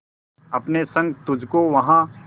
अपने संग तुझको वहां